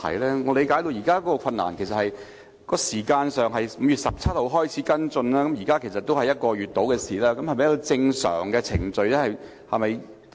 據我理解，現時的困難是這樣的：當局在5月17日開始跟進此事，至今已過了約1個月，這是否正常的程序呢？